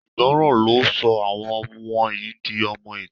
Àìgbọràn ló sọ àwọn wọ̀nyí di ọmọ-ìta